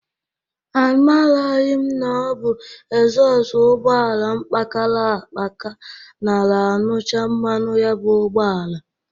Amaraghị m na ọ bụ exhọst ụgbọala m kpakara akpaka nara añụcha mmanụ ya bụ ụgbọala.